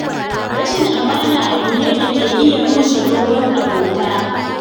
Rashin amana abu ne da ke iya rushe dogon abota.